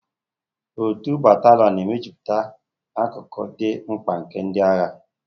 Otu batalionu na mejupụta akụkụ dị mkpa nke ndị agha.